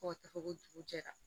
Fo ka taa fɔ ko dugu jɛra